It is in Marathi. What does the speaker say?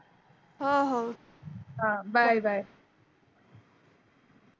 हो हो bye bye.